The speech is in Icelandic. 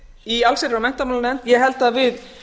í allsherjar og menntamálanefnd ég held að við